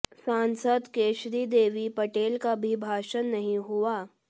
सांसद केशरी देवी पटेल का भी भाषण नहीं हुआ